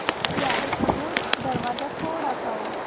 यारे खरगोश दरवाज़ा थोड़ा सा और